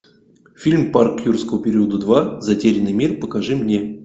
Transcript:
фильм парк юрского периода два затерянный мир покажи мне